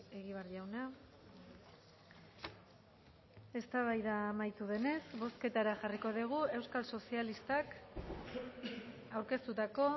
egibar jauna eztabaida amaitu denez bozketara jarriko dugu euskal sozialistak aurkeztutako